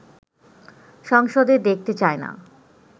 সংসদে দেখতে চায় না